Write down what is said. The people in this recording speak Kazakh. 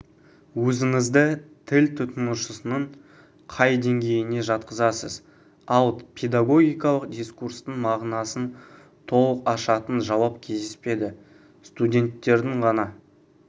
өзіңізді тіл тұтынушысының қай деңгейіне жатқызасыз ал педагогикалық дискурстың мағынасын толық ашатын жауап кездеспеді студенттердің ғана